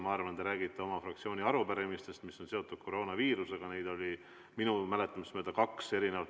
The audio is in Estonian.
Ma arvan, et te räägite oma fraktsiooni arupärimistest, mis on seotud koroonaviirusega, neid oli minu mäletamist mööda kaks.